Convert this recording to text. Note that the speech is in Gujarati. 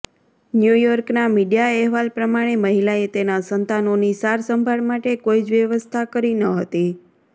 ન્યૂયોર્કના મીડિયા અહેવાલ પ્રમાણે મહિલાએ તેના સંતાનોની સારસંભાળ માટે કોઈ જ વ્યવસ્થા કરી ન હતી